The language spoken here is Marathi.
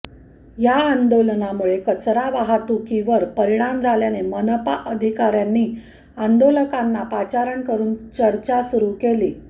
या आंदोलनामुळे कचरा वाहतुकीवर परिणाम झाल्याने मनापा अधिकाऱ्यांनी आंदोलकांना पाचारण करून चर्चा सुरु केली